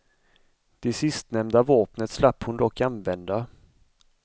Det sistnämnda vapnet slapp hon dock använda.